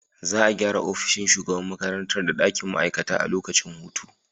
Za a gyara ofishin shugaban makarantar da dakin ma’aikata a lokacin hutu.